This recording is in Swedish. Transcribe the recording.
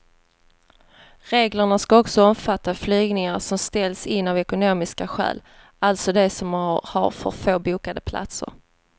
Reglerna ska också omfatta flygningar som ställs in av ekonomiska skäl, alltså de som har för få bokade platser.